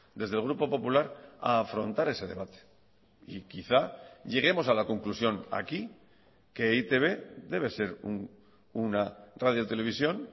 desde el grupo popular a afrontar ese debate y quizá lleguemos a la conclusión aquí que e i te be debe ser una radio televisión